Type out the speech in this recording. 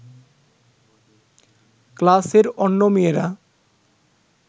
ক্লাসের অন্য মেয়েরা